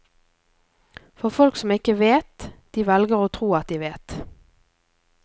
For folk som ikke vet, de velger å tro at de vet.